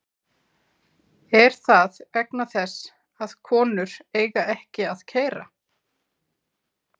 Er það vegna þess að konur eiga ekki að keyra????